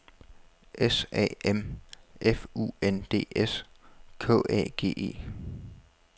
S A M F U N D S K A G E